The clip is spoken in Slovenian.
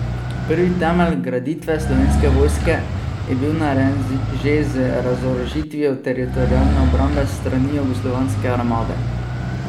Prvi temelj graditve slovenske vojske je bil narejen že z razorožitvijo Teritorialne obrambe s strani jugoslovanske armade.